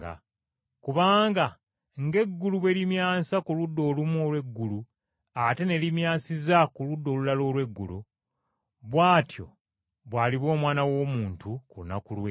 Kubanga ng’eggulu bwe limyansiza ku ludda olumu olw’eggulu ate ne limyansiza ku ludda olulala olw’eggulu, bw’atyo bw’aliba Omwana w’Omuntu ku lunaku lwe,